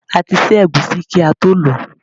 A ti ṣẹ́ ẹ̀gúsí kí ató lọ̀ọ́.